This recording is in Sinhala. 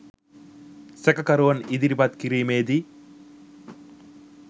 සැකකරුවන් ඉදිරිපත් කිරීමේදී